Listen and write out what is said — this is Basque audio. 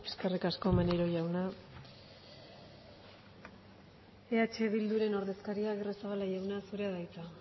eskerrik asko maneiro jauna eh bilduren ordezkaria agirrezabala jauna zurea da hitza